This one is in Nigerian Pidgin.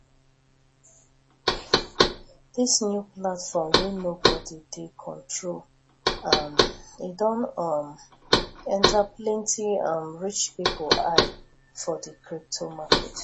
dis new platform wey nobody dey control um don um enter plenty um rich pipo eye for di crypto market